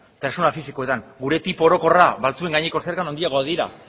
pertsona fisikoetan gure tipo orokorra batzuen gaineko zergan handiagoak dira